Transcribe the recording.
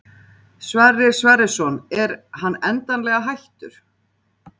Sverrir Sverrisson er hann endanlega hættur?